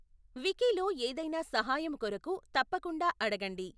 వికీలో ఏదైనా సహాయము కొరకు తప్పకుండా అడగండి.